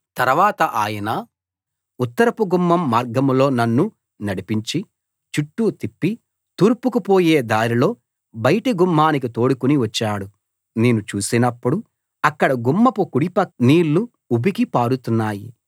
తరవాత ఆయన ఉత్తరపు గుమ్మం మార్గంలో నన్ను నడిపించి చుట్టూ తిప్పి తూర్పుకు పోయే దారిలో బయటి గుమ్మానికి తోడుకుని వచ్చాడు నేను చూసినప్పుడు అక్కడ గుమ్మపు కుడిపక్కన నీళ్లు ఉబికి పారుతున్నాయి